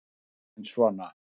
Maggi minn sona!